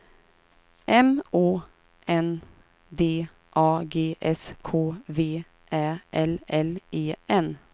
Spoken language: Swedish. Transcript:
M Å N D A G S K V Ä L L E N